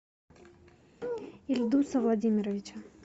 ильдуса владимировича